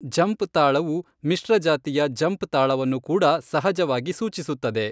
ಝಂಪ್ ತಾಳವು ಮಿಶ್ರ ಜಾತಿಯ ಝಂಪ್ ತಾಳವನ್ನು ಕೂಡ ಸಹಜವಾಗಿ ಸೂಚಿಸುತ್ತದೆ.